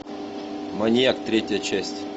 маньяк третья часть